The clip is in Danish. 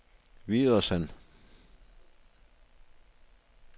videresend